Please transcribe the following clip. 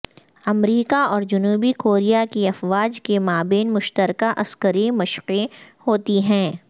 امریکہ اور جنوبی کوریا کی افواج کے مابین مشترکہ عسکری مشقیں ہوتی ہیں